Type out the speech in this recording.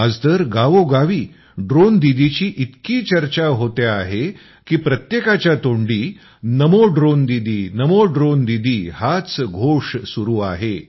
आज तर गावोगावी ड्रोनदीदीची इतकी चर्चा होते आहे की प्रत्येकाच्या तोंडी नमो ड्रोन दीदी नमो ड्रोन दीदी हाच घोष सुरू आहे